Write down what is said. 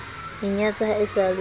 inyatsa ha e sa le